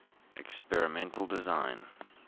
experimental design